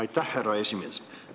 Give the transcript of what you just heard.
Aitäh, härra esimees!